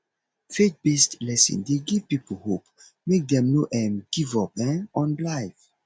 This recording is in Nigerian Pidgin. faith based lesson de give pipo hope make dem no um give up um on life